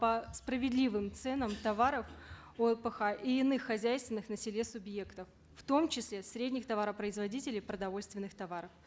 по справедливым ценам товаров олпх и иных хозяйственных на селе субъектов в том числе средних товаропроизводителей продовольственных товаров